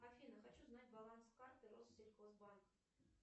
афина хочу знать баланс карты россельхозбанк